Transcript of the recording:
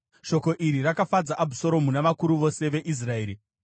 Shoko iri rakafadza Abhusaromu navakuru vose veIsraeri.